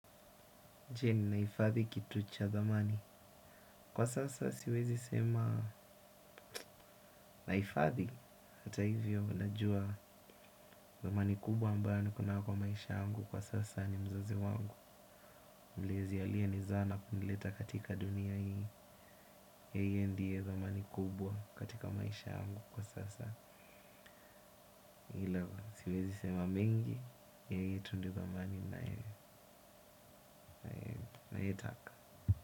Nchini naaifadhi kitu cha dhamani kwa sasa siwezi sema nahifadhi hata hivyo najua dhamani kubwa ambayo niko nayo kwa maisha yangu kwa sasa ni mzazi wangu mlezi aliye ni zaa na kunileta katika dunia hii yeye ndiye dhamani kubwa katika maisha yangu kwa sasa ila siwezi sema mengi yeye tu ndiye dhamani ninayetaka.